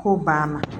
K'o banna